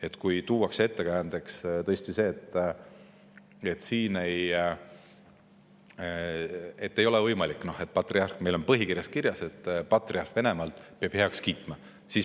Ettekäändeks tuuakse tõesti seda, et ei ole võimalik, sest neil on põhikirjas kirjas, et patriarh Venemaalt peab kõik heaks kiitma.